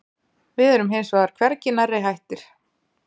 Við erum hins vegar hvergi nærri hættir